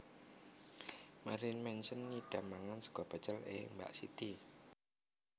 Marilyn Manson ngidam mangan sego pecel e Mbak Siti